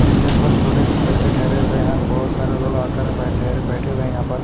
stage पर छोटे तिन बच्चे ठेहरे हुए है और बहोत सारे लोग आकर बेठे बेठे हुए यहाँ पर--